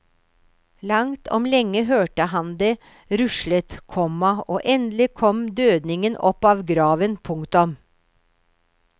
Langt om lenge hørte han det ruslet, komma og endelig kom dødningen opp av graven. punktum